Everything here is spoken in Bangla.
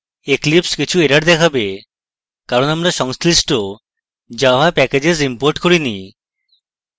eclipse কিছু errors দেখাবে কারণ আমরা সংশ্লিষ্ট java packages imported করিনি